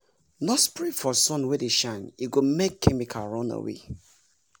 no spray for sun wey dey shine e go make chemical run away!